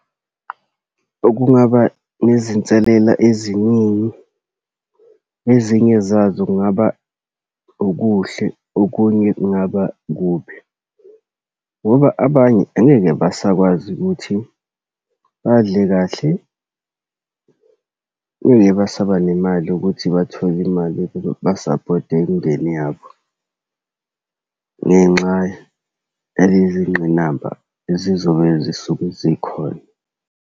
Okungaba nezinselela eziningi ezinye zazo, kungaba okuhle, okunye kungaba kubi. Ngoba abanye angeke basakwazi ukuthi badle kahle. basaba nemali ukuthi bathole imali yokuba basaphothe imindeni yabo, ngenxa yalezi ngqinamba ezizobe zisuke zikhona.